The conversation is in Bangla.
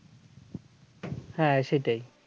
হ্যাঁ সেটাই